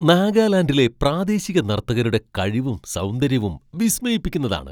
നാഗാലാൻഡിലെ പ്രാദേശിക നർത്തകരുടെ കഴിവും സൗന്ദര്യവും വിസ്മയിപ്പിക്കുന്നതാണ്.